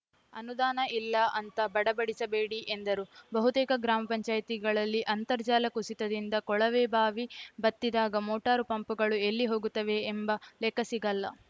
ಅನುದಾನ ಇಲ್ಲ ಅಂತ ಬಡಬಡಿಸಬೇಡಿ ಎಂದರು ಬಹುತೇಕ ಗ್ರಾಮ ಪಂಚಾಯಿತಿಗಳಲ್ಲಿ ಅಂತರ್ಜಲ ಕುಸಿತದಿಂದ ಕೊಳವೆ ಬಾವಿ ಬತ್ತಿದಾಗ ಮೋಟಾರು ಪಂಪುಗಳು ಎಲ್ಲಿ ಹೋಗುತ್ತವೆ ಎಂಬ ಲೆಕ್ಕ ಸಿಗಲ್ಲ